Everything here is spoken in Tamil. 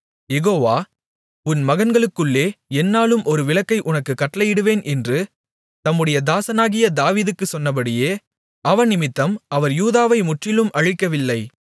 யெகோவா உன் மகன்களுக்குள்ளே எந்நாளும் ஒரு விளக்கை உனக்குக் கட்டளையிடுவேன் என்று தம்முடைய தாசனாகிய தாவீதுக்குச் சொன்னபடியே அவனிமித்தம் அவர் யூதாவை முற்றிலும் அழிக்கவில்லை